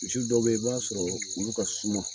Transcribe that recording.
Misi dɔw be yen i b'a sɔrɔ olu ka suma